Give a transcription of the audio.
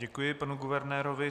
Děkuji panu guvernérovi.